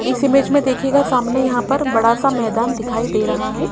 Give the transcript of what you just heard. इस इमेज में देखिएगा सामने यहां पर बड़ासा मैदान दिखाई दे रहा हैं।